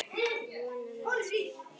Vona með sér.